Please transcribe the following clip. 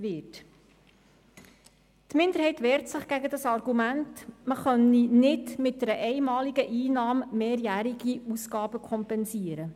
Die Minderheit wehrt sich gegen das Argument, man könne mit einer einmaligen Einnahme nicht mehrjährige Ausgaben kompensieren.